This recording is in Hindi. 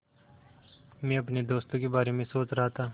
मैं अपने दोस्तों के बारे में सोच रहा था